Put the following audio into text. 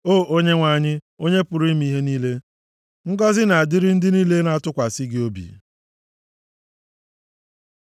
O Onyenwe anyị, Onye pụrụ ime ihe niile, ngọzị na-adịrị ndị niile na-atụkwasị gị obi.